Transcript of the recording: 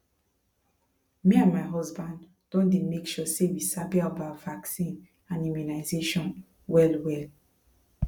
me and my husband don dey make sure say we sabi about vaccine and immunization wellwell